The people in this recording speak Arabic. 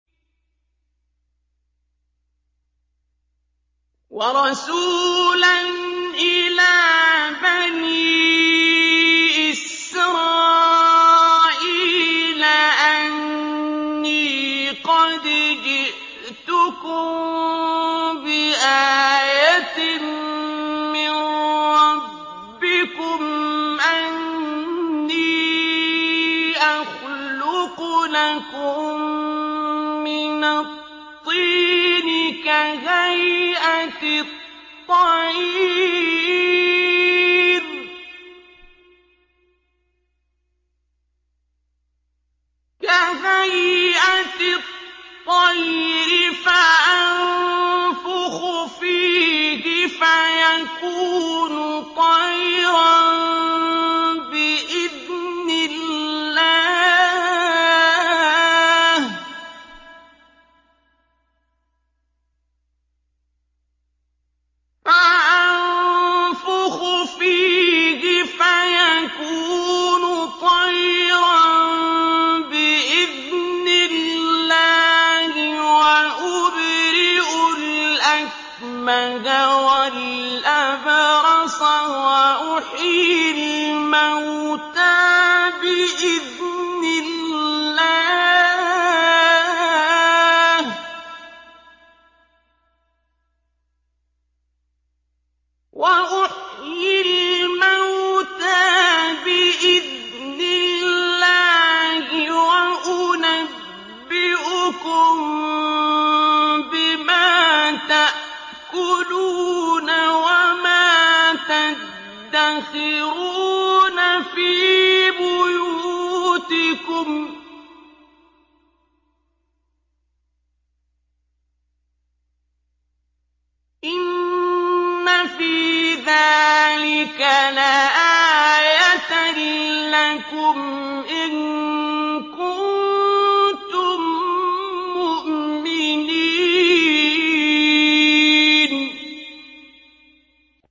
وَرَسُولًا إِلَىٰ بَنِي إِسْرَائِيلَ أَنِّي قَدْ جِئْتُكُم بِآيَةٍ مِّن رَّبِّكُمْ ۖ أَنِّي أَخْلُقُ لَكُم مِّنَ الطِّينِ كَهَيْئَةِ الطَّيْرِ فَأَنفُخُ فِيهِ فَيَكُونُ طَيْرًا بِإِذْنِ اللَّهِ ۖ وَأُبْرِئُ الْأَكْمَهَ وَالْأَبْرَصَ وَأُحْيِي الْمَوْتَىٰ بِإِذْنِ اللَّهِ ۖ وَأُنَبِّئُكُم بِمَا تَأْكُلُونَ وَمَا تَدَّخِرُونَ فِي بُيُوتِكُمْ ۚ إِنَّ فِي ذَٰلِكَ لَآيَةً لَّكُمْ إِن كُنتُم مُّؤْمِنِينَ